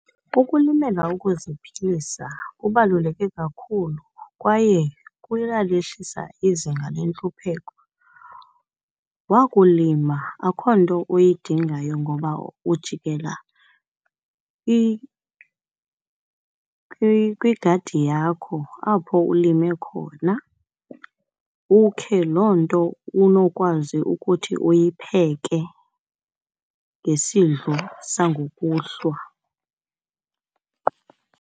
Ukulimela ukuziphilisa kubaluleke kakhulu kwaye kuya lehlisa izinga lentlupheko. Wakulima akho nto uyidingayo ngoba ujikela kwigadi yakho apho ulime khona, ukhe loo nto unokwazi ukuthi uyipheke ngesidlo sangokuhlwa.